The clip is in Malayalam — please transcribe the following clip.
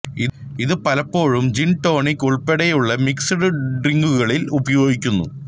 ഇത് പലപ്പോഴും ജിൻ ടോണിക്ക് ഉൾപ്പെടെയുള്ള മിക്സഡ് ഡ്രിങ്കുകളിൽ ഉപയോഗിക്കുന്നു